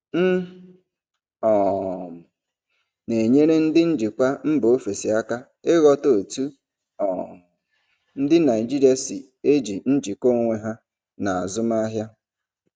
M um na-enyere ndị njikwa mba ofesi aka ịghọta otú um ndị Naijiria si eji njikọ onwe ha na azụmahịa.